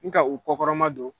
Ni ka u kɔ kɔrɔma don